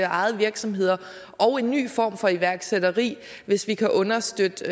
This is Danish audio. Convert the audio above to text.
ejede virksomheder og en ny form for iværksætteri hvis vi kan understøtte det